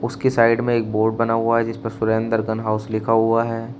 उसकी साइड में एक बोर्ड बना हुआ है जिसपर सुरेंद्र गन हाउस लिखा हुआ है।